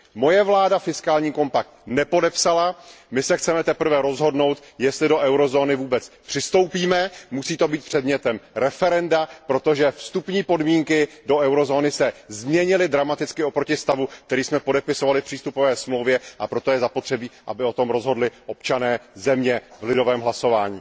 Moje vláda fiskální kompakt nepodepsala, my se chceme teprve rozhodnout, jestli do eurozóny vůbec přistoupíme, musí to být předmětem referenda, protože vstupní podmínky do eurozóny se dramaticky změnily oproti stavu, který jsme podepisovali v přístupové smlouvě, a proto je zapotřebí, aby o tom rozhodli občané země v lidovém hlasování.